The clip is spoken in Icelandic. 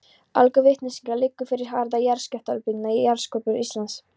Allgóð vitneskja liggur fyrir um hraða jarðskjálftabylgna í jarðskorpu Íslands.